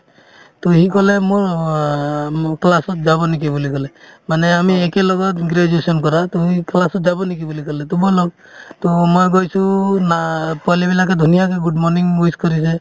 to সি ক'লে মোৰ অ মো class ত যাব নেকি বুলি ক'লে মানে আমি একেলগৰ graduation কৰা to সি class ত যাম নেকি বুলি ক'লে to মই লক to মই গৈছো না পোৱালিবিলাকে ধুনীয়াকে good morning wish কৰিছে